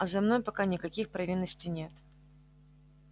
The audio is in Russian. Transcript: а за мной пока никаких провинностей нет